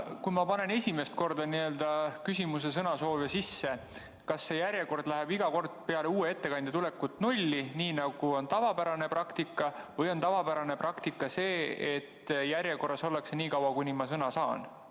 Kui ma panen esimest korda n‑ö sõnasoovi sisse, kas siis see järjekord läheb iga kord peale uue ettekandja tulekut nulli või on tavapärane praktika see, et järjekorras ollakse niikaua, kuni ma sõna saan?